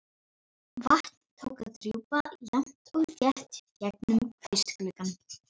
Vatn tók að drjúpa jafnt og þétt gegnum kvistgluggann.